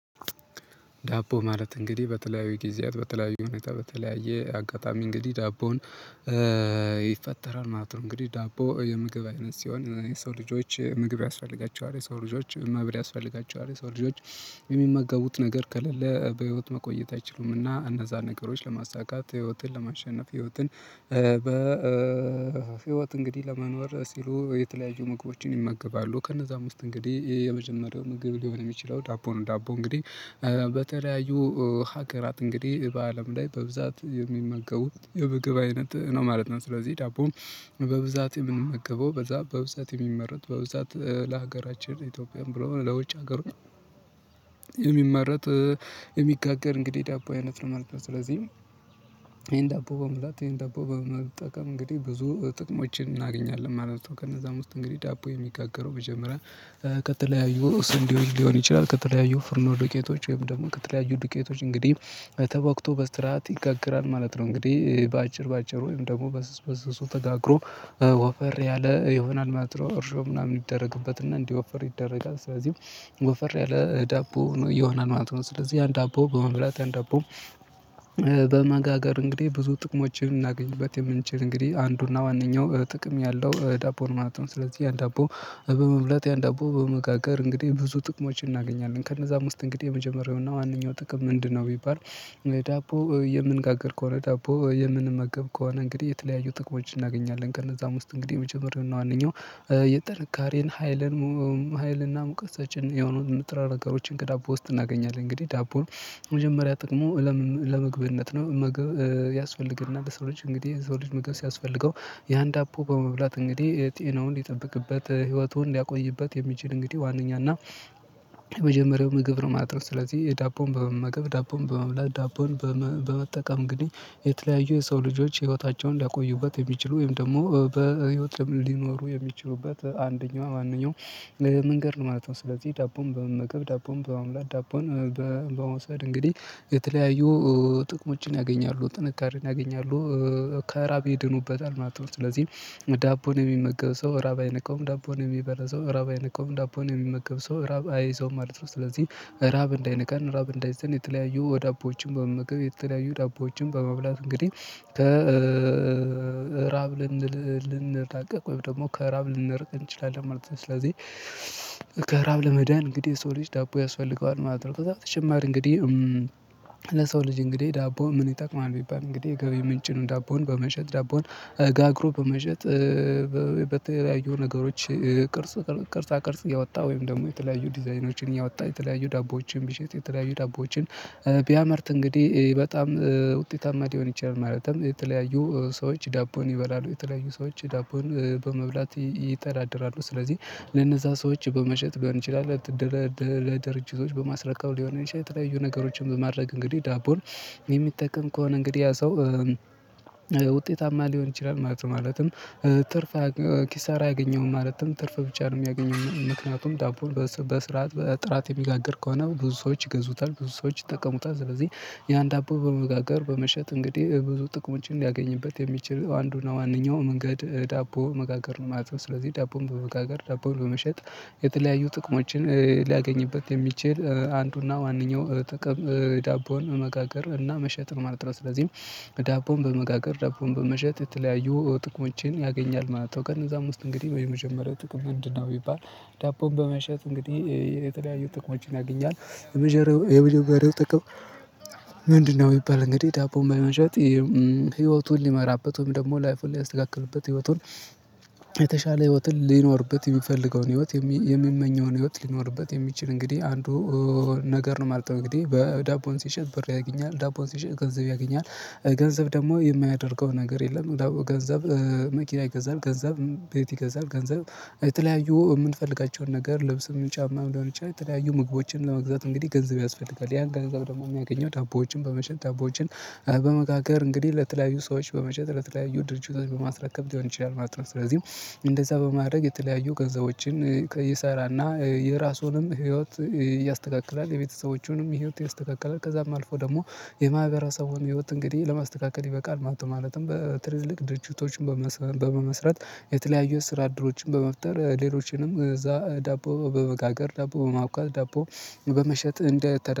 ዳቦ ማለት እንግዲህ በተለያዩ ጊዜያት በተለያዩ ሁኔታ በተለያየ አጋጣሚ እንግዲህ ዳቦን ይፈጠራል ማለት ነው። እንግዲህ ዳቦ የምግብ አይነት ሲሆን የሰው ልጆች ምግብ ያስፈልጋቸዋል የሰው ልጆች ምግብ ያስፈልጋቸዋል ሰው ልጆች የሚመገቡት ነገር ከሌለ በህይወት መቆየት አይችሉምና እነዛን ነገሮች ለማሳካት ህይወትን ለማሸነፍ ህይወትን በ በህይወት እንግዲህ ለመኖር ሲሉ የተለያዩ ምግቦችን ይመገባሉ ከነዛ ዉስጥ እንግዲህ የመጀመሪያው ምግብ ሊሆን የሚችለው ዳቦ ነው። ዳቦ እንግዲህ በተለያዩ ሀገራት እንግዲህ በአለም ላይ በብዛት የሚመገቡት የምግብ አይነት ነው ማለት ነው። ስለዚህ ዳቦን በብዛት የምመገበው በዛ በብዛት የሚመረት በብዛት ለሀገራችን ኢትዮጵያም ብሎ ለውጭ ሀገሩ የሚመረት የሚጋገር እንግዲህ ዳቦ አይነት ለመመረጥ ስለዚህ ይሄን ዳቦ በመብላት ይሄን ዳቦ በመጠቀም እንግዲህ ብዙ ጥቅሞችን እናገኛለን ማለት ነው። ከነዛም ውስጥ እንግዲህ ዳቦ የሚጋገረው መጀመሪያ ከተለያዩ ስንዴዎች ሊሆን ይችላል ከተለያዩ ፍርኖ ዱቄቶች ወይም ደግሞ ከተለያዩ ዱቄቶች እንግዲህ ተቦክቶ በስርዓት ይጋገራል ማለት ነው። እንግዲህ በአጭር በአጭር ወይም ደግሞ በስስ በስሱ ተጋግሮ ወፈር ያለ ይሆናል ነው ኦርሾ ምናምን ይደረግበት እና እንዲህ ወፈር ይደረጋል ስለዚህ ወፈር ያለ ዳቦ ነው ይሆናል ማለት ነው። ስለዚህ ያን ዳቦ በመብላት ያን ዳቦ በማጋገር እንግዲህ ብዙ ጥቅሞችን እናገኝበት የምንችል እንግዲህ አንዱና ዋነኛው ጥቅም ያለው ዳቦ ርማኖትን ስለዚህ ያን ዳቦ በመብላት ያን ዳቦ በመጋገር እንግዲህ ብዙ ጥቅሞችን እናገኛለን ከነዛም ዉስጥ እንግዲህ የመጀመሪያው እና ዋነኛው ጥቅም ምንድነው? ቢባል ዳቦ የምንጋግር ከሆነ ዳቦ የምንመገብ ከሆነ እንግዲህ የተለያዩ ጥቅሞችን እናገኛለን። ከነዛም ውስጥ እንግዲህ የመጀመሪያውን እና አንደኛው የጥንካሬን ሀይልን ሀይልንና ሙቀሳችንን የሆኑ ምጥራ ነገሮችን ከዳቦ ውስጥ እናገኛለን። እንግዲህ ዳቦን መጀመሪያ ጥቅሙ ለመግብነት ነው። ምግብ ያስፈልገናል ለሰው ልጅ እንግዲህ የዘው ልጅ ምግብ ሲያስፈልገው የአንድ አፖ በመብላት እንግዲህ ጤናውን ሊጠብቅበት ህይወቱን ሊያቆይበት የሚችል እንግዲህ ዋናኛው እና የመጀመሪያው ምግብ ነው ማለት ነው። ስለዚህ የዳቦን በመመገብ ዳቦን በመምላት ዳቦን በመጠቀም እንግዲህ የተለያዩ የሰው ልጆች ህይወታቸውን ሊያቆዩበት የሚችሉ ወይም ደግሞ በህይወት ሊኖሩ የሚችሉበት አንደኛዋ ማንኛውም ለመንገድ ነው ማለት ነው። ስለዚህ ዳቦም በመገገብ ዳቦን በአምላክ ዳቦን በመውሰድ እንግዲህ የተለያዩ ጥቅሞችን ያገኛሉ ጥንካሬን ያገኛሉ ከራብ ይድኑበታል ማለት ነው። ስለዚህ ዳቦን የሚመገብ ሰው ራብ አይነካውም ዳቦን የሚበላ ራብ አይነካውም ዳቦን የሚመገብ ሰው ራብ አይይዘውም ማለት ነው። ስለዚህ ራብ እንዳይነካን ራብ እንዳይዘን የተለያዩ ወዳቦዎችን በመመገብ የተለያዩ ዳቦዎችን በመብላት እንግዲህ ከራብ ልንል ልንጠቀቅ ወይም ደግሞ ከራብ ልንርቅ እንችላለን ማለት ነው። ስለዚህ ከራብ ለመዳን እንግዲህ ሰው ልጅ ዳቦ ያስፈልገዋል ማለት ነው። ከዛ በተጨማሪ እንግዲህ ለሰው ልጅ እንግዲህ ዳቦ ምን ይጠቅማል? ቢባል እንግዲህ ገቢ ምንጭን ዳቦን በመሸጥ ዳቦን ጋግሮ በመሸጥ በተለያዩ ነገሮች ቅርጽ ቅርጻ ቅርጽ ያወጣ ወይም ደግሞ የተለያዩ ዲዛይኖችን ያወጣ የተለያዩ ዳቦዎችን ቢሸጥ የተለያዩ ዳቦዎችን ቢያመርት እንግዲህ በጣም ውጤታማ ሊሆን ይችላል። ማለትም የተለያዩ ሰዎች ዳቦን ይበላሉ የተለያዩ ሰዎች ዳቦን በመብላት ይተዳደራሉ ስለዚህ ለነዛ ሰዎች በመሸጥ ሊሆን ይችላል እንደለ ድርጅቶች በማስረከብ ሊሆን ይችላል የተለያዩ ነገሮችን በማድረግ እንግዲህ ዳቦን የሚጠቅም ከሆነ እንግዲህ ያ ሰው ውጤታማ ሊሆን ይችላል ማለት ነው። ማለትም ትርፍ ኪሳራ አያገኘውም ማለትም ትርፍ ብቻ ነው የሚያገኘው። ምክንያቱም ዳቦን በስርዓት በጥራት የሚጋግር ከሆነ ብዙ ሰዎች ይገዙታል ብዙ ሰዎች ይጠቀሙታል። ስለዚህ ያን ዳቦ በመጋገር በመሸጥ እንግዲህ ብዙ ጥቅሞችን ሊያገኝበት የሚችል አንዱና ማንኛውም መንገድ ዳቦ መጋገር ነው ማለት ነው። ስለዚህ ዳቦን በመጋገር ዳቦን በመሸጥ የተለያዩ ጥቅሞችን ሊያገኝበት የሚችል አንዱና ዋነኛው ጥቅም የዳቦን መጋገር እና መሸጥ ማለት ነው። ስለዚህም ዳቦን በመጋገር ዳቦን በመሸጥ የተለያዩ ጥቅሞችን ያገኛል ማለት ነው። ቀን እዛም ውስጥ እንግዲህ የመጀመሪያው ጥቅም ምንድነው? ቢባል ዳቦን በመሸጥ እንግዲህ የተለያዩ ጥቅሞችን ያገኛል። የመጀመሪያው ጥቅም የምትጠቀመው ምንድነው? ቢባል እንግዲህ ዳቦ በመሸጥ ህይወቱን ሊመራበትም ደግሞ ላይፉን ሊያስተካክሉበት ህይወቱን የተሻለ ህይወትን ሊኖርበት የሚፈልገውን ህይወት የሚመኘውን ህይወት ሊኖርበት የሚችል እንግዲህ አንዱ ነገር ነው ማለት ነው። እንግዲህ በዳቦን ሲሸጥ ብር ያገኛል ዳቦን ሲሸጥ ገንዘብ ያገኛል ገንዘብ ደግሞ የማያደርገው ነገር የለም። ገንዘብ መኪና ይገዛል ገንዘብ ቤት ይገዛል ገንዘብ የተለያዩ የምንፈልጋቸውን ነገር ልብስ ሊሆን ይችላል። ጫማም ሊሆን ይችላል። የተለያዩ ምግቦችን ለመግዛት እንግዲህ ገንዘብ ያስፈልጋል። ያን ገንዘብ ደግሞ የሚያገኘው ታቦዎችን በመሸጥ ዳቦዎችን በመጋገር እንግዲህ ለተለያዩ ሰዎች በመሸጥ ለተለያዩ ድርጅቶች በማስረከብ ሊሆን ይችላል ማለት ነው። ስለዚህም እንደዛ በማድረግ የተለያዩ ገንዘቦችን ይሰራልና የራሱንም ህይወት ያስተካክላል የቤተሰቦቹንም ህይወት ይስተካከላል ከዛም አልፎ ደግሞ የማህበረሰቡን ህይወት እንግዲህ ለማስተካከል ይበቃል። ማለትም በትልልቅ ድርጅቶች በመመስረት የተለያዩ ስራ አድሎችን በመፍጠር ሌሎችንም እዛ ዳቦ በመጋገር ዳቦ በማውጣት ዳቦ በመሸጥ እንደተ